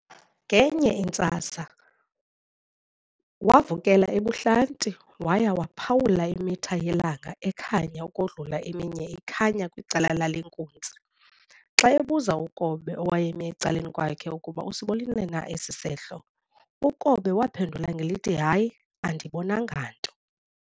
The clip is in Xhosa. Ngenye intsasa wavukela ebuhlanti waya waphawula imitha yelanga ekhanya ukodlula eminye ikhanya kwicala lale nkunzi. Xa ebuza uKobe owayemi ecaleni kwakhe ukuba usibonile na esi sehlo, ukobe waphendula ngelithi hayi andibonanga nto.